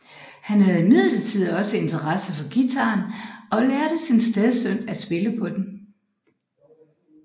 Han havde imidlertid også interesse for guitaren og lærte sin stedsøn at spille på den